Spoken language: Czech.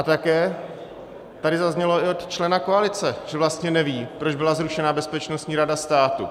A také tady zaznělo i od člena koalice, že vlastně neví, proč byla zrušena Bezpečnostní rada státu.